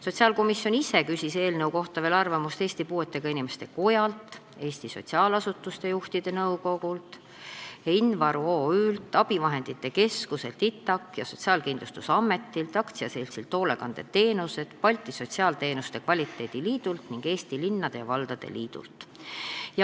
Sotsiaalkomisjon ise küsis eelnõu kohta veel arvamust Eesti Puuetega Inimeste Kojalt, Eesti Sotsiaalasutuste Juhtide Nõukojalt, Invaru OÜ-lt, abivahendite keskuselt ITAK ja Sotsiaalkindlustusametilt, AS-ilt Hoolekandeteenused, Balti Sotsiaalteenuste Kvaliteedi Liidult ning Eesti Linnade ja Valdade Liidult.